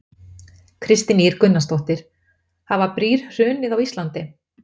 Kristín Ýr Gunnarsdóttir: Hafa brýr hrunið á Íslandi?